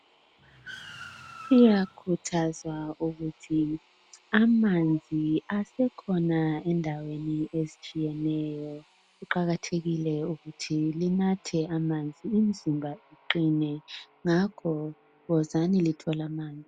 Liyakhuthazwa ukuthi amanzi asekhona endaweni ezithiyeneyo. Kuqakathekile ukuthi linathe amanzi, imizimba iqine. Ngakho ke wozani , llthole amanzi.